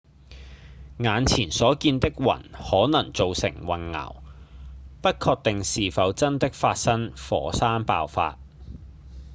眼前所見的雲可能造成混淆不確定是否真的發生火山爆發